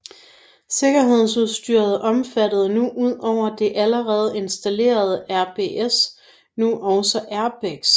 Sikkerhedsudstyret omfattede nu ud over det allerede installerede ABS nu også airbags